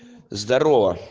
здарова